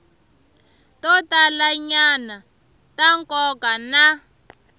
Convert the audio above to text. to talanyana ta nkoka na